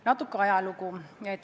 Natuke ajalugu.